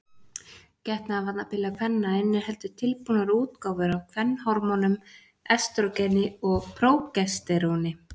Getnaðarvarnarpilla kvenna inniheldur tilbúnar útgáfur af kvenhormónunum estrógeni og prógesteróni.